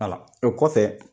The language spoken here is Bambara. o kɔfɛ.